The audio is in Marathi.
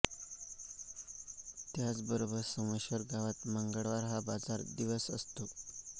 त्याच बरोबर सोमेश्वर गावात मंगळवार हा बाजार दिवस असतो